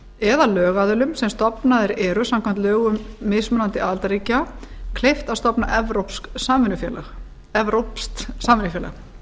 eða lögaðilum sem stofnaðir eru samkvæmt lögum mismunandi aðildarríkja kleift að stofna evrópskt samvinnufélag